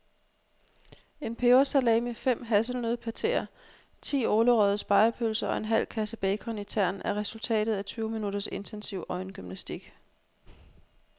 En pebersalami, fem hasselnøddepateer, ti ålerøgede spegepølser og en halv kasse bacon i tern er resultatet af tyve minutters intensiv øjengymnastik.